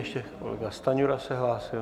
Ještě kolega Stanjura se hlásil.